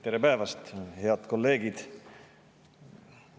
Tere päevast, head kolleegid!